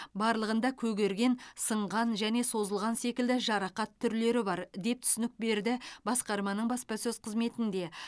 барлығында көгерген сынған және созылған секілді жарақат түрлері бар деп түсінік берді басқарманың баспасөз қызметінде